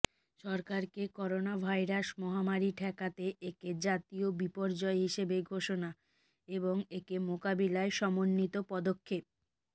সরকারকে করোনাভাইরাস মহামারি ঠেকাতে একে জাতীয় বিপর্যয় হিসেবে ঘোষণা এবং একে মোকাবিলায় সমন্বিত পদক্ষ